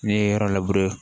N'i ye yɔrɔ labure